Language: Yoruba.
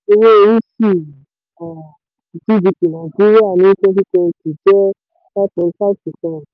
owó orí sí um gdp nàìjíríà ní twenty twenty jẹ́ five point five percent.